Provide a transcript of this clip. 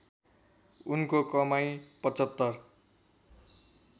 उनको कमाई ७५